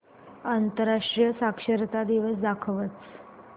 आंतरराष्ट्रीय साक्षरता दिवस दाखवच